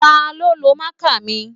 Taló lo máàkà mi?